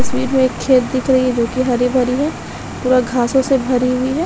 इस भीड़ मे खेत दिख रही है जो कि हरी-भरी है पूरा घासो से भरी है।